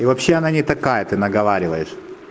и вообще она не такая ты наговариваешь